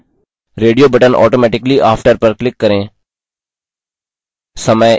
radio button automatically after पर click करें